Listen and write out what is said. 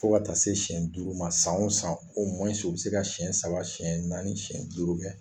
Fo ka taa se siyɛn duuru ma san o san u bɛ se ka siyɛn saba siyɛn naani siyɛn duuru kɛ.